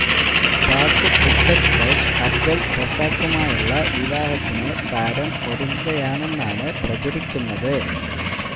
Pak cricket coach Abdul റസാക്കുമായുള്ള വിവാഹത്തിന് താരം ഒരുങ്ങുകയാണെന്നാണ് പ്രചരിക്കുന്നത്